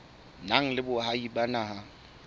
nang le boahi ba naha